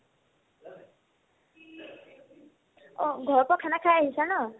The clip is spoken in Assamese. অ, ঘৰৰ পৰা khana খাই আহিছা ন ?